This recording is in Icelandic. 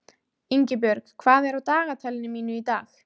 Ingibjörg, hvað er á dagatalinu mínu í dag?